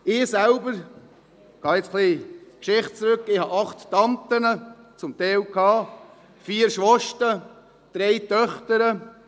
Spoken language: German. Ich selbst, ich gehe jetzt ein wenig in die Geschichte zurück, habe – und hatte teilweise – 8 Tanten, 4 Schwester, 3 Töchter.